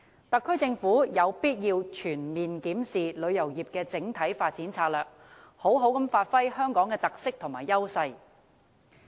特區政府有必要全面檢視旅遊業的整體發展策略，好好發揮香港的特色和優勢。